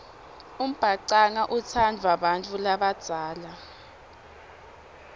umbhacanga utsandvwa bantfu labadzala